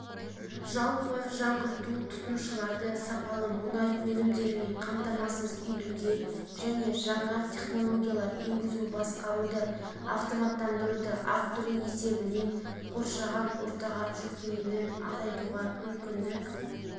жалпы жаңғырту тұтынушыларды сапалы мұнай өнімдерімен қамтамасыз етуге және жаңа технологиялар енгізу басқаруды автоматтандыруды арттыру есебінен қоршаған ортаға жүктемені азайтуға мүмкіндік